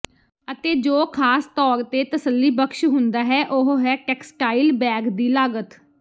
ਅਤੇ ਜੋ ਖਾਸ ਤੌਰ ਤੇ ਤਸੱਲੀਬਖ਼ਸ਼ ਹੁੰਦਾ ਹੈ ਉਹ ਹੈ ਟੈਕਸਟਾਈਲ ਬੈਗ ਦੀ ਲਾਗਤ